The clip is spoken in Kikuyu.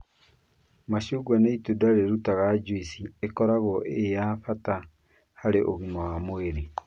Macungwa nĩ itunda rĩrutaga juici ĩkoragwo ĩĩ ya bata harĩ ũgima wa mwĩrĩ.